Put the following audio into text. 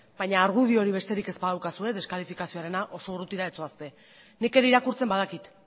baina argudiorik besterik ez badaukazue deskalifizazioarena oso urrutira ez zoazte nik ere irakurtzen badakit